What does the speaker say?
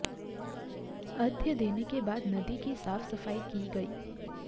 अघ्र्य देने के बाद नदी की साफ सफाई की गई